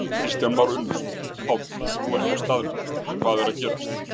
Kristján Már Unnarsson: Páll, þú ert á staðnum, hvað er að gerast?